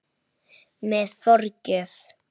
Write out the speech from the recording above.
Með forgjöf